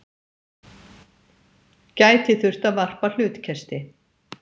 Gæti þurft að varpa hlutkesti